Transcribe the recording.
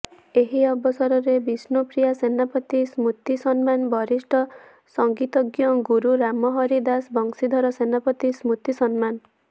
ଏହି ଅବସରରେ ବିଷ୍ଣୁପ୍ରିୟା ସେନାପତି ସ୍ମୃତି ସମ୍ମାନ ବିଶିଷ୍ଠ ସଂଗିତଜ୍ଞ ଗୁରୁ ରାମହରି ଦାସ ବଂଶୀଧର ସେନାପତି ସ୍ମୃତି ସମ୍ମାନ